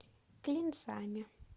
клинцами